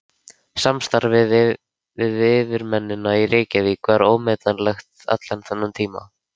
Samstarfið við yfirmennina í Reykjavík var ómetanlegt allan þennan tíma.